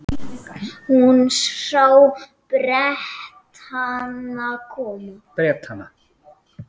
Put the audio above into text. Hún sá Bretana koma.